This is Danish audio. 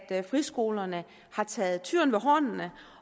at friskolerne har taget tyren ved hornene